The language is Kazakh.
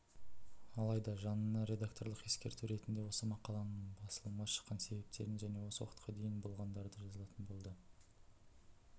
алайда жанына редакторлық ескерту ретінде осы мақаланың басылымға шыққан себептерін және осы уақытқа дейін болғандарды жазатын болды